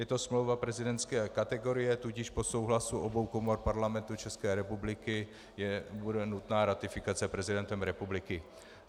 Je to smlouva prezidentské kategorie, tudíž po souhlasu obou komor Parlamentu České republiky bude nutná ratifikace prezidentem republiky.